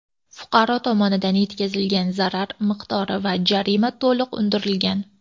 Fuqaro tomonidan yetkazilgan zarar miqdori va jarima to‘liq undirilgan.